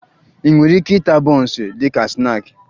Ị nwere ike ịta bọọnsụ dị ka snaakị